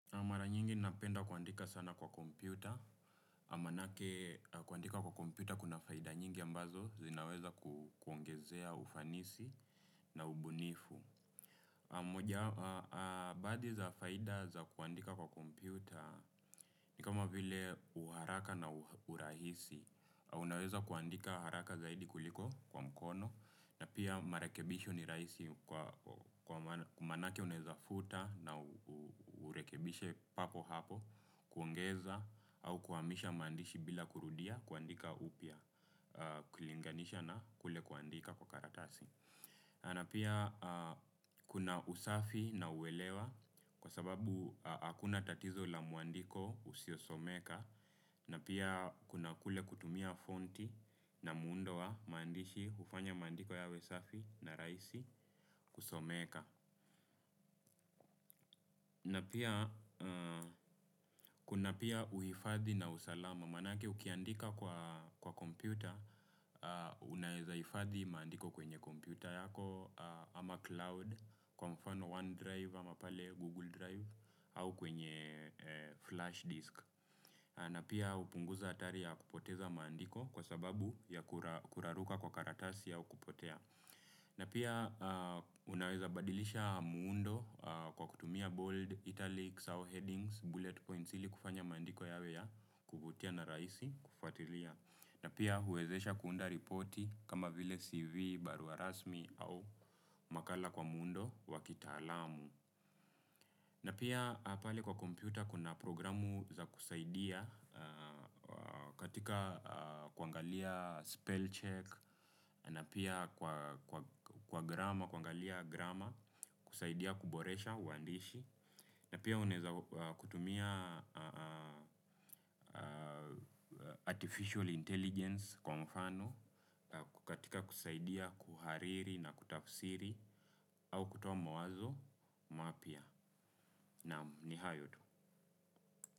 Na mara nyingi napenda kuandika sana kwa kompyuta. Manake kuandika kwa kompyuta kuna faida nyingi ambazo zinaweza kuongezea ufanisi na ubunifu. Baadhi za faida za kuandika kwa kompyuta ni kama vile uharaka na urahisi. Unaweza kuandika haraka zaidi kuliko kwa mkono. Na pia marekebisho ni rahisi kwa manake unaeza futa na urekebishe papo hapo. Kuongeza au kuhamisha maandishi bila kurudia kuandika upya kulinganisha na kule kuandika kwa karatasi na pia kuna usafi na uwelewa. Kwa sababu hakuna tatizo la muandiko usiosomeka na pia kuna kule kutumia fonti na muundo wa maandishi hufanya maandiko yawe safi na rahisi kusomeka na pia kuna pia uhifadhi na usalamu manake ukiandika kwa kompyuta, unaweza hifadhi maandiko kwenye kompyuta yako, ama cloud, kwa mfano OneDrive, ama pale Google Drive, au kwenye flash disk. Na pia hupunguza hatari ya kupoteza maandiko kwa sababu ya kuraruka kwa karatasi au kupotea. Na pia unaweza badilisha muundo kwa kutumia bold, italics, au headings, bullet points ili kufanya maandiko yawe ya kuvutia na rahisi kufatilia. Na pia huwezesha kuunda ripoti kama vile CV, barua rasmi au makala kwa muundo wa kitaalamu. Na pia pale kwa kompyuta kuna programu za kusaidia katika kuangalia spell check na pia kwa grama kuangalia grama kusaidia kuboresha uandishi na pia unaeza kutumia artificial intelligence kwa mfano katika kusaidia kuhariri na kutafsiri au kutoa mawazo mapya naam ni hayo tu.